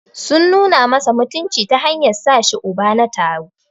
Sun nuna masa mutunci ta hanyar sashi Uba na taro.